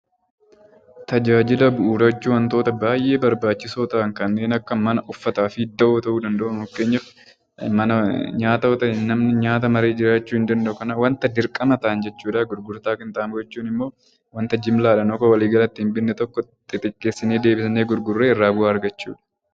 Tajaajila Bu'uuraa jechuun wantoota baay'ee barbaachisoo ta'an kaneen akka Mana, Uffataa fi dawoo ta'uu danda'uu. Fakkeenyaaf nyaata yoo ta'e namni nyaata malee jiraachuu hin danda'u. Kanaaf wanta dirqama tahan jechuu dha. Gurgurtaa Qinxaaboo jechuun immoo wanta jimlaa dhaan akka walii galaatti binne tokko xixiqqeessinee deebisnee gurgurree irraa bu'aa argachuu dha.